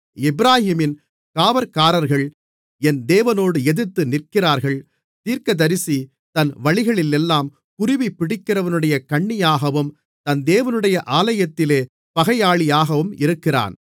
எப்பிராயீமின் காவற்காரர்கள் என் தேவனோடு எதிர்த்து நிற்கிறார்கள் தீர்க்கதரிசி தன் வழிகளிலெல்லாம் குருவிபிடிக்கிறவனுடைய கண்ணியாகவும் தன் தேவனுடைய ஆலயத்திலே பகையாளியாகவும் இருக்கிறான்